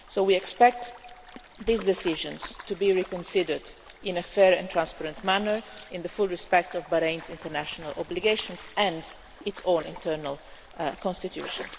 So we expect these decisions to be reconsidered in a fair and transparent manner in full respect of Bahrain's international obligations and its own internal constitution.